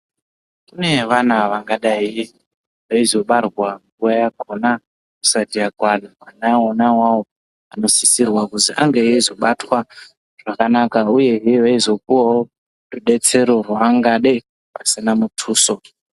Kune vana vangadayi veizobarwa nguwa yakhona isati yakwana vana wonawawo anosisirwa kuzi ange eizobatwa zvakanaka uyehe veizopuwawo rudetsere rwaangade pasina muthuso.